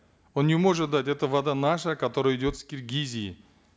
он не может дать эта вода наша которая идет с киргизии